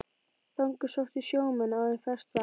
Þangað sóttu sjómenn áður ferskt vatn.